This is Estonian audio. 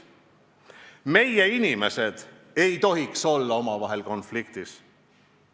Meie inimesed ei tohiks olla omavahel konfliktis.